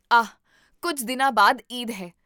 ਆਹ, ਕੁੱਝ ਦਿਨਾਂ ਬਾਅਦ ਈਦ ਹੈ